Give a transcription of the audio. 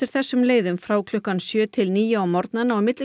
þessum leiðum frá klukkan sjö til níu á morgnana og milli